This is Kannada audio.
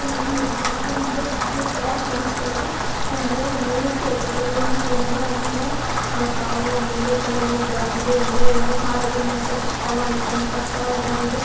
ಇಲ್ಲಿ ನಾವು ನೋಡಬೋದು ಒಂದು ಗ್ಯಾರೇಜ್ ತರಾ ಕಾಣ್ಸ್ತತಾದೆ ಅಂದ್ರೆ ಮೇಲೆ ಎತ್ತಿದರೆ ಇಲ್ಲಿ ಏನ್ ಅಂದ್ರೆ ಅದುನ್ನ ಅಹ್ ಕಾರು ಆಮೇಲೆ ಈ ಕಡೆ ಎಲ್ಲ ಇದಾಗಿದೆ ಅಂದ್ರೆ ಕಾರ್ ರೆಡಿಮೇಡ್ಸ್ಕೆ ಇಟ್ಕೋಳೋ ಐಟಂ ತರ್ಸ ಇದೆ.